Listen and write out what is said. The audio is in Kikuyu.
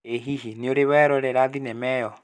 ĩ hihi nĩũrĩ werora thenema ĩyo?